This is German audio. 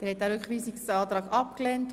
Sie haben den Rückweisungsantrag abgelehnt.